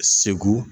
Segu